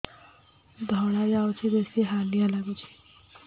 ଧଳା ଯାଉଛି ବେଶି ହାଲିଆ ଲାଗୁଚି